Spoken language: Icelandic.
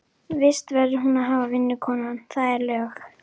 Vist verður hún að hafa, vinnukonan, það eru lög.